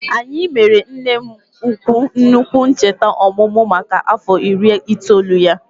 Anyị mere nne m ukwu nnukwu ncheta ọmụmụ maka afọ iri itoolu ya